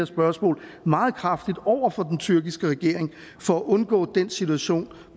spørgsmål meget kraftigt over for den tyrkiske regering for at undgå den situation